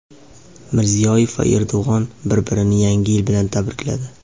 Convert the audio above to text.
Mirziyoyev va Erdo‘g‘on bir-birini Yangi yil bilan tabrikladi.